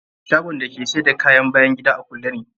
Shagon da ke sayar da kayan bayan gida a kulle ne.